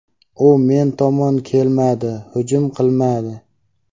U men tomon kelmadi, hujum qilmadi.